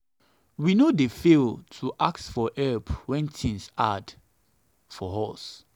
we no dey fail to ask for help when tins too hard for us.